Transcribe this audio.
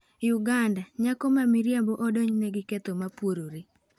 Uganda: Nyako ma miriambo odonjne gi ketho mopuorore